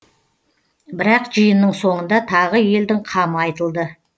бірақ жиынның соңында тағы елдің қамы айтылды